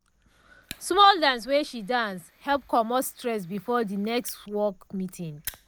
small dance wey she dance help commot stress before de next work meeting.